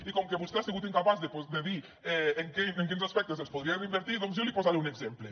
i com que vostè ha sigut incapaç de dir en quins aspectes els podria reinvertir doncs jo li posaré un exemple